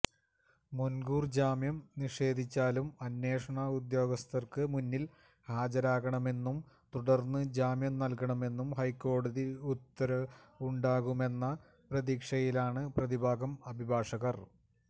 മുന്കൂര് ജാമ്യം നിഷേധിച്ചാലും അന്വേഷണ ഉദ്യോഗസ്ഥര്ക്ക് മുന്നില് ഹാജരാകണമെന്നും തുടര്ന്ന് ജാമ്യം നല്കണമെന്നും ഹൈക്കോടതി ഉത്തരവുണ്ടാകുമെന്ന പ്രതീക്ഷയിലാണ് പ്രതിഭാഗം അഭിഭാഷകര്